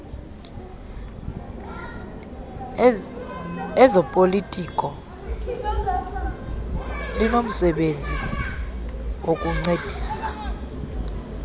lezopolitiko linomsebenzi wokukuncedisa